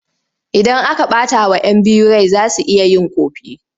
Idan aka ɓatawa 'yan biyu rai za su iya yin ƙofi.